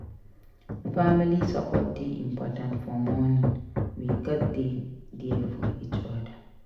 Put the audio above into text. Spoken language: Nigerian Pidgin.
Family support dey important for mourning; we gats dey there for each oda.